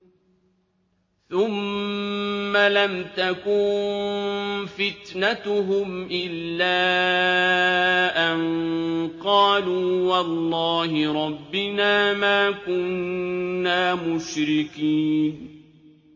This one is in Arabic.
ثُمَّ لَمْ تَكُن فِتْنَتُهُمْ إِلَّا أَن قَالُوا وَاللَّهِ رَبِّنَا مَا كُنَّا مُشْرِكِينَ